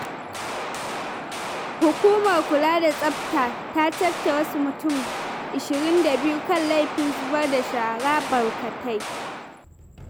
Hukumar Kula da Tsafta ta cafke wasu mutum 22 kan laifin zubar da shara barkatai.